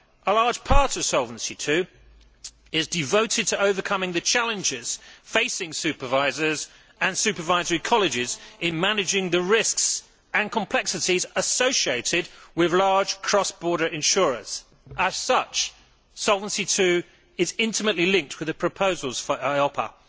A large part of Solvency II is devoted to overcoming the challenges facing supervisors and supervisory colleges in managing the risks and complexities associated with large cross border insurers. As such, Solvency II is intimately linked with the proposals for EIOPA.